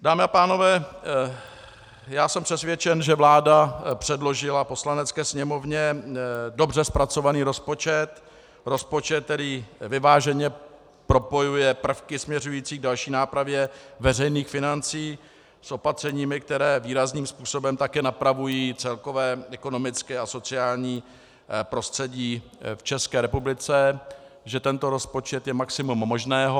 Dámy a pánové, já jsem přesvědčen, že vláda předložila Poslanecké sněmovně dobře zpracovaný rozpočet, rozpočet, který vyváženě propojuje prvky směřující k další nápravě veřejných financí s opatřeními, která výrazným způsobem také napravují celkové ekonomické a sociální prostředí v České republice, že tento rozpočet je maximum možného.